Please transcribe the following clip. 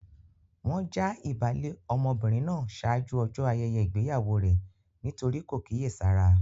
Wọ́n já ìbálé ọmọbìnrin náà ṣáájú ọjọ́ ayẹyẹ ìgbéyàwó rẹ nítorí kò kíyèsára.